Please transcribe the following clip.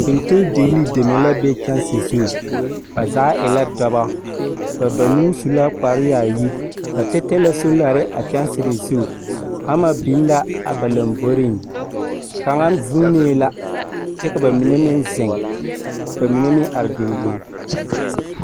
Fentendigilii deme are la kyɛnse zu. Bazaa e la dɔbɔ, ba su banuu su la kpare yaayi. Ba tɛtɛ la soolare a kyɛnse zu, hama biŋ la a ba lomboriŋ. Kaŋa zuunee la, kyɛ ka ba mine meŋ zeŋ, ba mine meŋ are dendeŋ.